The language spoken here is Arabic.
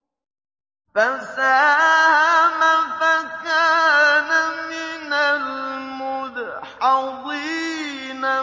فَسَاهَمَ فَكَانَ مِنَ الْمُدْحَضِينَ